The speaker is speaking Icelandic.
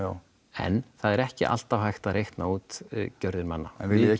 en það er ekki alltaf hægt að reikna út gjörðir manna en viljið